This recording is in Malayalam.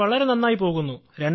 സർ വളരെ നന്നായി പോകുന്നു